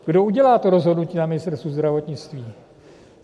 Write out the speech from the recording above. Kdo udělá to rozhodnutí na Ministerstvu zdravotnictví?